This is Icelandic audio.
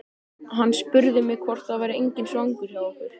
Hann spurði mig hvort það væri enginn svangur hjá okkur.